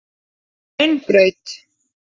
Hraunbraut